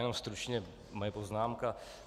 Jenom stručně moje poznámka.